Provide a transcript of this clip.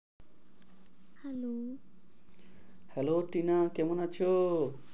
Hello Tinu কেমন আছো?